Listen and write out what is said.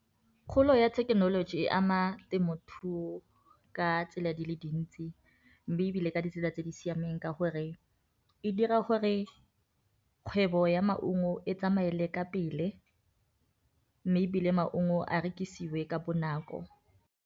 Kgolo ya thekenoloji e ama temothuo ka tsela di le dintsi mme e bile ka ditsela tse di siameng ka gore e dira gore kgwebo ya maungo e tsamaele ka pele mme e bile maungo a rekisiwe ka bonako.